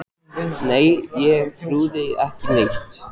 Nei ég trúði ekki á neitt.